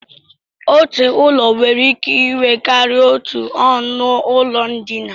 Otu ụlọ nwere ike inwe karịa otú ọnụụlọ ndina